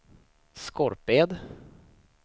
Skorped